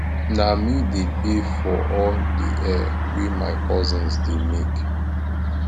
na me dey pay for all di hair wey my cousins dey make